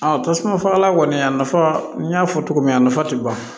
tasuma fagalan kɔni a nafa n y'a fɔ cogo min a nafa tɛ ban